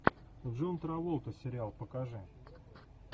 джон траволта сериал покажи